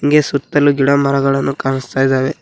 ಹಾಗೆ ಸುತ್ತಲು ಗಿಡಮರಗಳನ್ನು ಕಾಣುಸ್ತಾ ಇದಾವೆ.